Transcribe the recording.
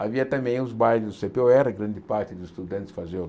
Havia também os bailes do cê pê ó érre, grande parte dos estudantes faziam...